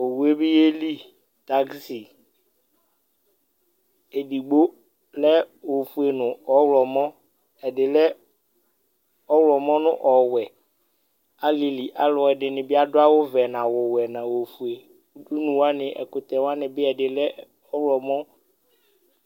Owue bi yeli taxi, edigbo lɛ ofue nu ɔwlɔmɔ, ɛdi lɛ ɔwlɔmɔ nu ɔwɛ, alili alu ɛdini bi adu awu vɛ nu awu wɛ nu awu fue, udunu wʋani ɛkutɛ wʋani bi ɛdi lɛ ɔwlɔmɔ